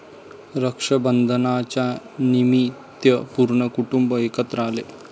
रक्षाबंधनाच्यानिमित्त पूर्ण कुटुंब एकत्र आले.